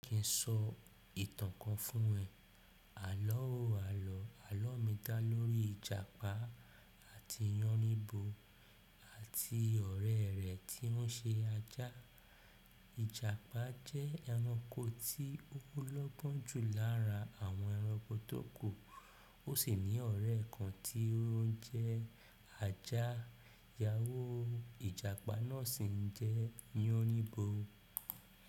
Kin sọ ìtàn kan fún ẹ. Àlọ́ àwò àlọ́ àlọ́mì dá lórí Ìjàpá àti Yanibo àti ọ̀rẹ́ rẹ̀ tí ó ń ṣe ajá. Ìjàpá jẹ́ ẹranko tí ó lọ́kàn jù lára àwọn ẹranko tó kù, ó sì ní ọ̀re kan tí ó ń jẹ́ ajá. Ìyáwo Ìjàpá náà sì ń jẹ́ Yánibo.